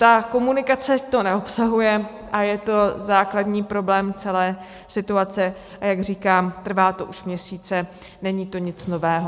Ta komunikace to neobsahuje a je to základní problém celé situace, a jak říkám, trvá to už měsíce, není to nic nového.